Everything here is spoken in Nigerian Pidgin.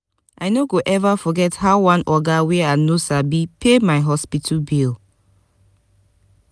i no go eva forget how one oga wey i no sabi pay my hospital bill.